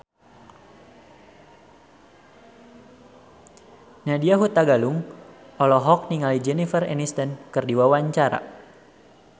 Nadya Hutagalung olohok ningali Jennifer Aniston keur diwawancara